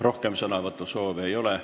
Rohkem sõnavõtusoove ei ole.